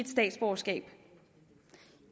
statsborgerskab